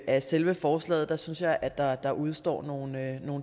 af selve forslaget synes jeg at der der udestår nogle